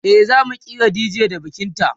e zamu kira dj da bikin ta